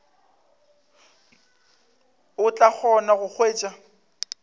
o tla kgona go hwetša